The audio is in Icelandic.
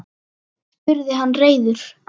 spurði hann reiður.